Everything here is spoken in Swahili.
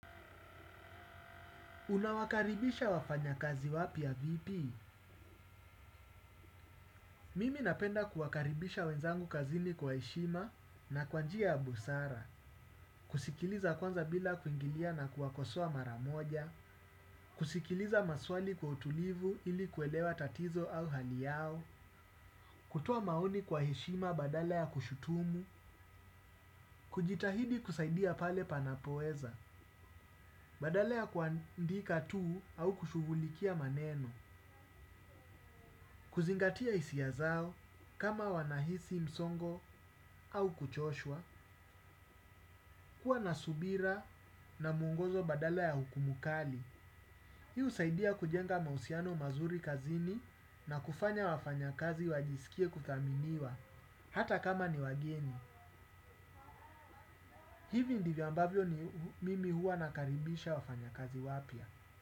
Unawakaribisha wafanyakazi wapya vipi? Mimi napenda kuwakaribisha wenzangu kazini kwa hishima na kwa njia ya busara, kusikiliza kwanza bila kuingilia na kuwa kosoa mara moja, kusikiliza maswali kwa utulivu ili kuelewa tatizo au hali yao, kutoa maoni kwa heshima badala ya kushutumu, kujitahidi kusaidia pale panapoweza, badala ya kuandika tu au kushughulikia maneno, kuzingatia isia zao, kama wanahisi msongo au kuchoshwa kwa nasubira na mwongozo badala ya hukumu kali, hio husaidia kujenga mausiano mazuri kazini na kufanya wafanyakazi wajisikie kuthaminiwa hata kama ni wageni. Hivi ndivyo ambavyo mimi hua nakaribisha wafanyakazi wapya.